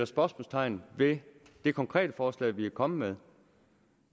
spørgsmålstegn ved det konkrete forslag vi er kommet med